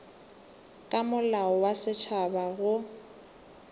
ka molao wa setšhaba go